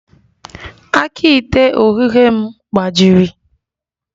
Aka ite oghughe m gbajiri